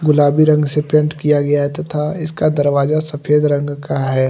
गुलाबी रंग से पेंट किया गया है तथा इसका दरवाजा सफेद रंग का है।